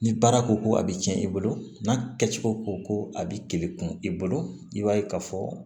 Ni baara koko a bɛ tiɲɛ i bolo n'a kɛcogo ko ko a bɛ teli kun i bolo i b'a ye ka fɔ